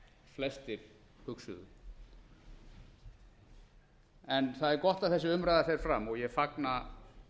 flestir hugsuðu það er gott að þessi umræða fer fram og ég fagna